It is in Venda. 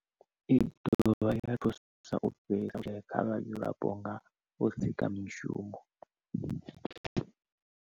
I dovha ya thusa u fhelisa vhushayi kha vhadzulapo nga u sika mishumo.